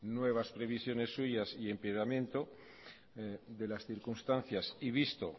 nuevas previsiones suyas y empeoramiento de las circunstancias